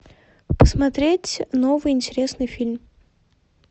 посмотреть новый интересный фильм